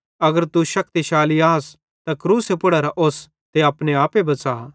अगर तू शक्तिशाली आस त क्रूसे पुड़ेरां ओस्तां अपने आपे बच़ा